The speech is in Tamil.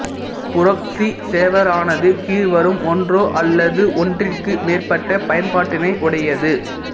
புறொக்ஸி சேவரானது கீழ்வரும் ஒன்றோ அல்லது ஒன்றிற்கு மேற்பட்ட பயன்பாட்டினை உடையது